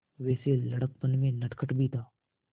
वैसे लड़कपन में नटखट भी था